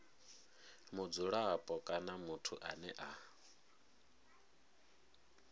mudzulapo kana muthu ane a